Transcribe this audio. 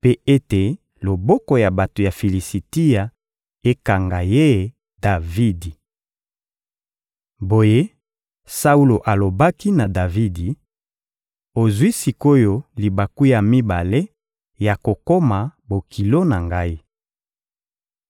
mpe ete loboko ya bato ya Filisitia ekanga ye Davidi.» Boye Saulo alobaki na Davidi: «Ozwi sik’oyo libaku ya mibale ya kokoma bokilo na ngai.»